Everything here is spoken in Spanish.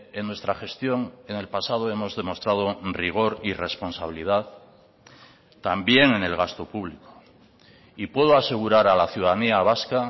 en nuestra gestión en el pasado hemos demostrado rigor y responsabilidad también en el gasto público y puedo asegurar a la ciudadanía vasca